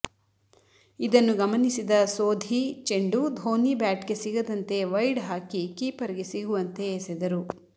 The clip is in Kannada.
ಇದನ್ನು ಗಮನಿಸಿದ ಸೋಧಿ ಚೆಂಡು ಧೋನಿ ಬ್ಯಾಟ್ ಗೆ ಸಿಗದಂತೆ ವೈಡ್ ಹಾಕಿ ಕೀಪರ್ ಗೆ ಸಿಗುವಂತೆ ಎಸೆದರು